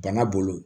Bana bolo